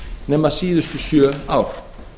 nema síðustu sjö ár